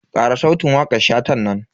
Kara sautin wakan Shatan nan.